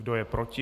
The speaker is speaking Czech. Kdo je proti?